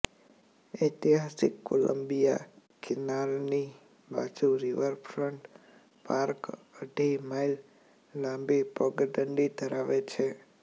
ઐતિહાસિક કોલંબિયા કેનાલની બાજુ પર રિવરફ્રન્ટ પાર્ક અઢી માઇલ લાંબી પગદંડી ધરાવે છે